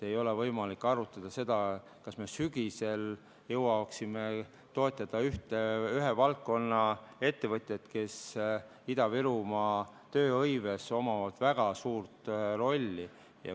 Ei ole võimalik arutleda, kas me sügisel jõuaksime toetada ühe valdkonna ettevõtjaid, kellel Ida-Virumaa tööhõives on väga suur roll.